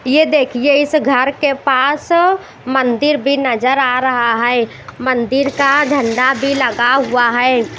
ये देखिए इस घर के पास मंदिर भी नजर आ रहा है मंदिर का झंडा भी लगा हुआ है।